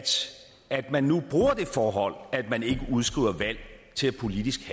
at man nu bruger det forhold at man ikke udskriver valg til politisk